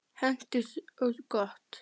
Hentugt og gott.